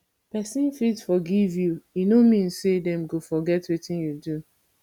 person fit forgive you e no mean say dem go forget wetin you do